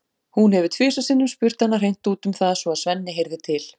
Hún hefur tvisvar sinnum spurt hana hreint út um það svo að Svenni heyrði til.